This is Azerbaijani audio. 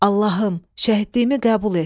Allahım, şəhidliyimi qəbul et!